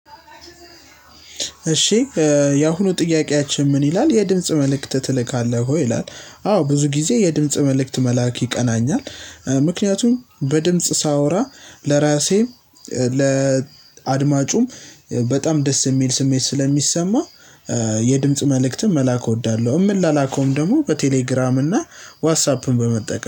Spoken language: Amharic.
እሺ የአሁኑ ጥያቄያችን ምን ይላል የድምጽ መልእክት ትልካለህ ወይ? ይላል አዎ ብዙ ጊዜ የድምጽ መልእክት መላክ ይቀናኛል ምክንያቱም በድምጽ ሳወራ ለራሴ ለ ለአድማጩም በጣም ደስ የሚል ስሜት ስለሚሰማ የድምጽ መልእክትም መላክ እወዳለሁ የምላላከውም ደግሞ በቴሌግራም እና ዋትሳፕን በመጠቀም